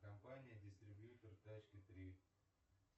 компания дистрибьютер тачки три